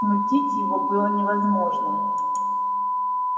смутить его было невозможно